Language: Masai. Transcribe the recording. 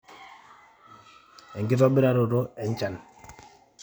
enkitobiraroto enchan